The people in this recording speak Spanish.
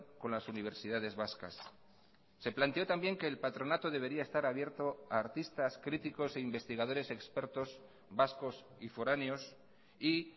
con las universidades vascas se planteó también que el patronato debería estar abierto a artistas críticos e investigadores expertos vascos y foráneos y